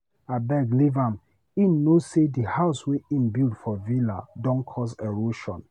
Abeg leave am, him no know say di house wey im build for villa don cause erosion.